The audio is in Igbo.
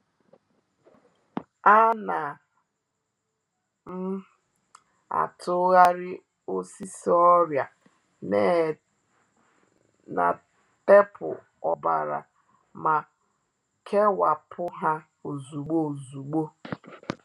A na m atụgharị osisi ọrịa na teepu ọbara ma kewapụ ha ozugbo ozugbo